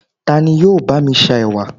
tani yíò ba mi sa ẹwà